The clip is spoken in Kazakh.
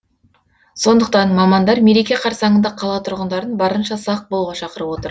сондықтан мамандар мереке қарсаңында қала тұрғындарын барынша сақ болуға шақырып отыр